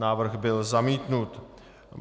Návrh byl zamítnut.